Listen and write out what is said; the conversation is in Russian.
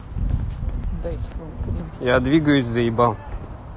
я двигаюсь заебал